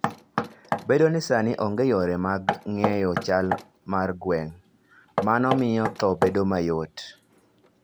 Bedo ni sani onge yore mag ng'eyo chal mar gwen, mano miyo tho bedo mayot.